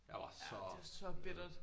Jeg var så nede